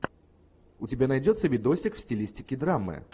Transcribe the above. у тебя найдется видосик в стилистике драмы